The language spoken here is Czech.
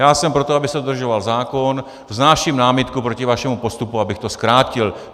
Já jsem pro to, aby se dodržoval zákon, vznáším námitku proti vašemu postupu, abych to zkrátil.